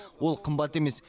ол қымбат емес